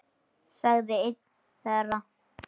sagði einn þeirra.